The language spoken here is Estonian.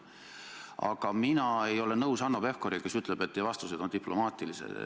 Aga mina ei ole nõus Hanno Pevkuriga, kes ütleb, et teie vastused on diplomaatilised.